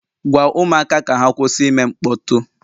Gwa ụmụaka ka ha kwụsị ime mkpọtụ!